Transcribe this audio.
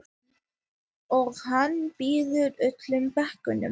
Og hann býður öllum bekknum.